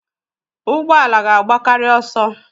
Ụgbọ ala ga-agbakarị ọsọ.